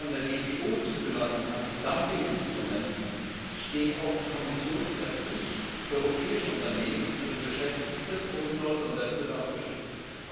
Mit den von der WTO zugelassenen Antidumping Instrumenten steht auch die Kommission in der Pflicht, europäische Unternehmen und deren Beschäftigte vor unlauterem Wettbewerb zu schützen.